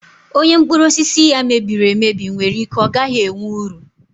Onye mkpụrụ osisi ya mebiri emebi nwere ike ọ gaghị enwe uru.